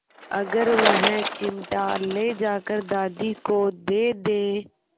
अगर वह चिमटा ले जाकर दादी को दे दे